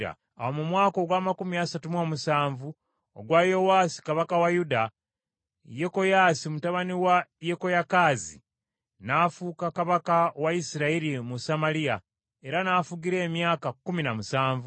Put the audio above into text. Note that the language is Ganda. Awo mu mwaka ogw’amakumi asatu mu omusanvu ogwa Yowaasi kabaka wa Yuda, Yekoyaasi mutabani wa Yekoyakaazi n’afuuka kabaka wa Isirayiri mu Samaliya, era n’afugira emyaka kkumi na musanvu.